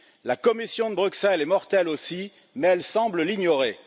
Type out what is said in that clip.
La Commission de Bruxelles est mortelle aussi, mais elle semble l'ignorer.